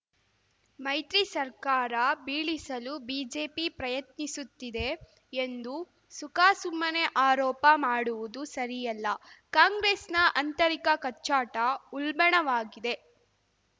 ಮೈತ್ರಿ ಸರ್ಕಾರ ಬೀಳಿಸಲು ಬಿಜೆಪಿ ಪ್ರಯತ್ನಿಸುತ್ತಿದೆ ಎಂದು ಸುಖಾಸುಮ್ಮನೆ ಆರೋಪ ಮಾಡುವುದು ಸರಿಯಲ್ಲ ಕಾಂಗ್ರೆಸ್‌ನ ಅಂತರಿಕ ಕಚ್ಚಾಟ ಉಲ್ಬಣವಾಗಿದೆ